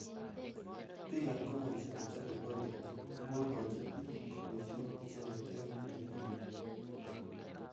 Bik ab kampunisjek chechopei golgate kokoikochi bik koboishe icheket eng tililindo.